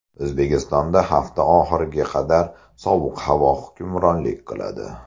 O‘zbekistonda hafta oxiriga qadar sovuq havo hukmronlik qiladi .